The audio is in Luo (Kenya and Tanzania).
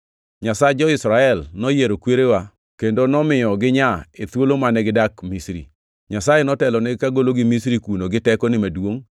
Nyasach jo-Israel noyiero kwerewa kendo nomiyo ginyaa e thuolo mane gidak Misri. Nyasaye notelonigi kagologi Misri kuno gi tekone maduongʼ;